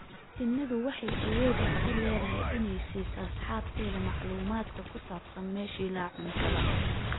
Shinnidu waxay awood u leedahay inay siiso asxaabteeda macluumaadka ku saabsan meesha ilaha cuntada.